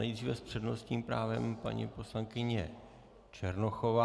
Nejdříve s přednostním právem paní poslankyně Černochová.